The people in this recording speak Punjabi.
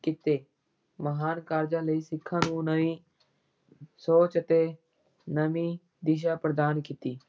ਕੀਤੇ ਮਹਾਨ ਕਾਰਜਾਂ ਨੇ ਸਿੱਖਾਂ ਨੂੰ ਨਵੀਂ ਸੋਚ ਅਤੇ ਨਵੀਂ ਦਿਸ਼ਾ ਪ੍ਰਦਾਨ ਕੀਤੀ।